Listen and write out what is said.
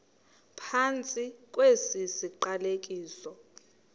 phantsi kwesi siqalekiso